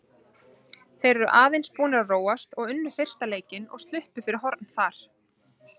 Þeir eru aðeins búnir að róast og unnu fyrsta leikinn og sluppu fyrir horn þar.